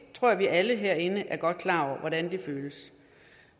tror at vi alle herinde er klar over hvordan det føles